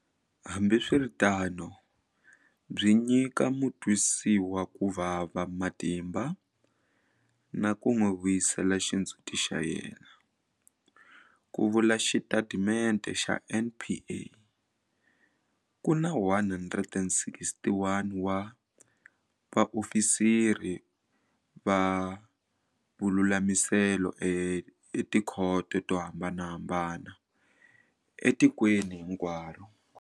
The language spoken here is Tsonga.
Hambiswiritano byi nyika mutwisiwakuvava matimba na ku n'wi vuyisela xindzhuti xa yena, ku vula xitatimende xa NPA. Ku na 161 wa vaofisiri va vululamiselo etikhoto to hambanahambana etikweni hinkwaro.